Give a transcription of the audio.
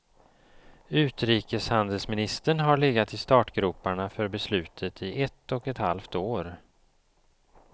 Utrikeshandelsministern har legat i startgroparna för beslutet i ett och ett halvt år.